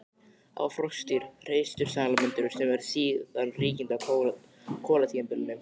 Það voru froskdýr, hreistursalamöndrur, sem urðu síðan ríkjandi á kolatímabilinu.